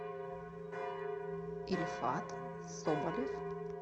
ильфат соболев